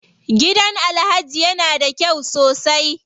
Gidan Alhaji ya na da kyau sosai.